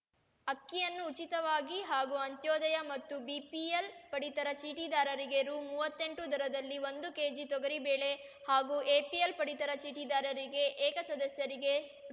ಅಕ್ಕಿಯನ್ನು ಉಚಿತವಾಗಿ ಹಾಗೂ ಅಂತ್ಯೋದಯ ಮತ್ತು ಬಿಪಿಎಲ್‌ ಪಡಿತರ ಚೀಟಿದಾರರಿಗೆ ರು ಮೂವತ್ತೆಂಟು ದರದಲ್ಲಿ ಒಂದು ಕೆಜಿ ತೊಗರಿಬೇಳೆ ಹಾಗೂ ಎಪಿಎಲ್‌ ಪಡಿತರ ಚೀಟಿದಾರರಿಗೆ ಏಕ ಸದಸ್ಯರಿಗೆ